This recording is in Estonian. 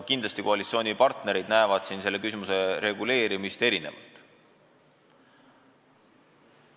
Kindlasti koalitsioonipartnerid näevad selle küsimuse lahendamist erinevalt.